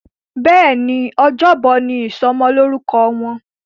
Béèni Ọjọ́ Bọ̀ ní ìsomo lórúko Wón.